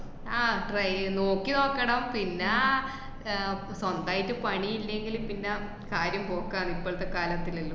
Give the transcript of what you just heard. ആഹ് try എയ് നോക്കിനോക്കണം പിന്നെ ആഹ് സ്വന്തായിട്ട് പണി ഇല്ലങ്കില് പിന്ന കാര്യം പോക്കാണ് ഇപ്പളത്തെ കാലത്തിലെല്ലു.